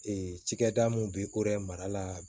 Ee cikɛda mun bɛ yen ko yɛrɛ mara la